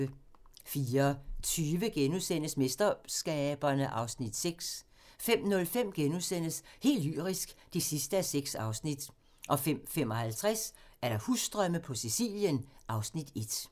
04:20: MesterSkaberne (Afs. 6)* 05:05: Helt lyrisk (6:6)* 05:55: Husdrømme på Sicilien (Afs. 1)